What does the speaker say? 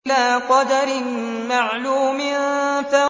إِلَىٰ قَدَرٍ مَّعْلُومٍ